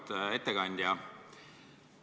Auväärt ettekandja!